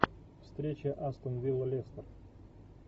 встреча астон вилла лестер